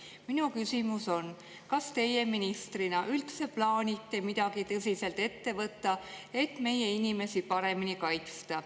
Minu küsimus on: kas teie ministrina üldse plaanite midagi tõsiselt ette võtta, et meie inimesi paremini kaitsta?